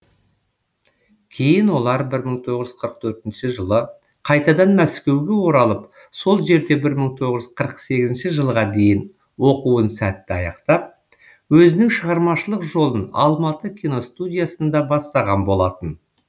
кейін олар бір мың тоғыз жүз қырық төртінші жылы қайтадан мәскеуге оралып сол жерде бір мың тоғыз жүз қырық сегізінші жылға дейін оқуын сәтті аяқтап өзінің шығармашылық жолын алматы киностудиясында бастаған болатын